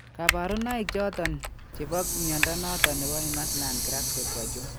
Kabarunaik choton chebo mnyondo noton nebo Imerslund Grasbeck ko achon ?